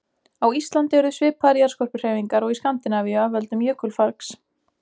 Á Íslandi urðu svipaðar jarðskorpuhreyfingar og í Skandinavíu af völdum jökulfargs.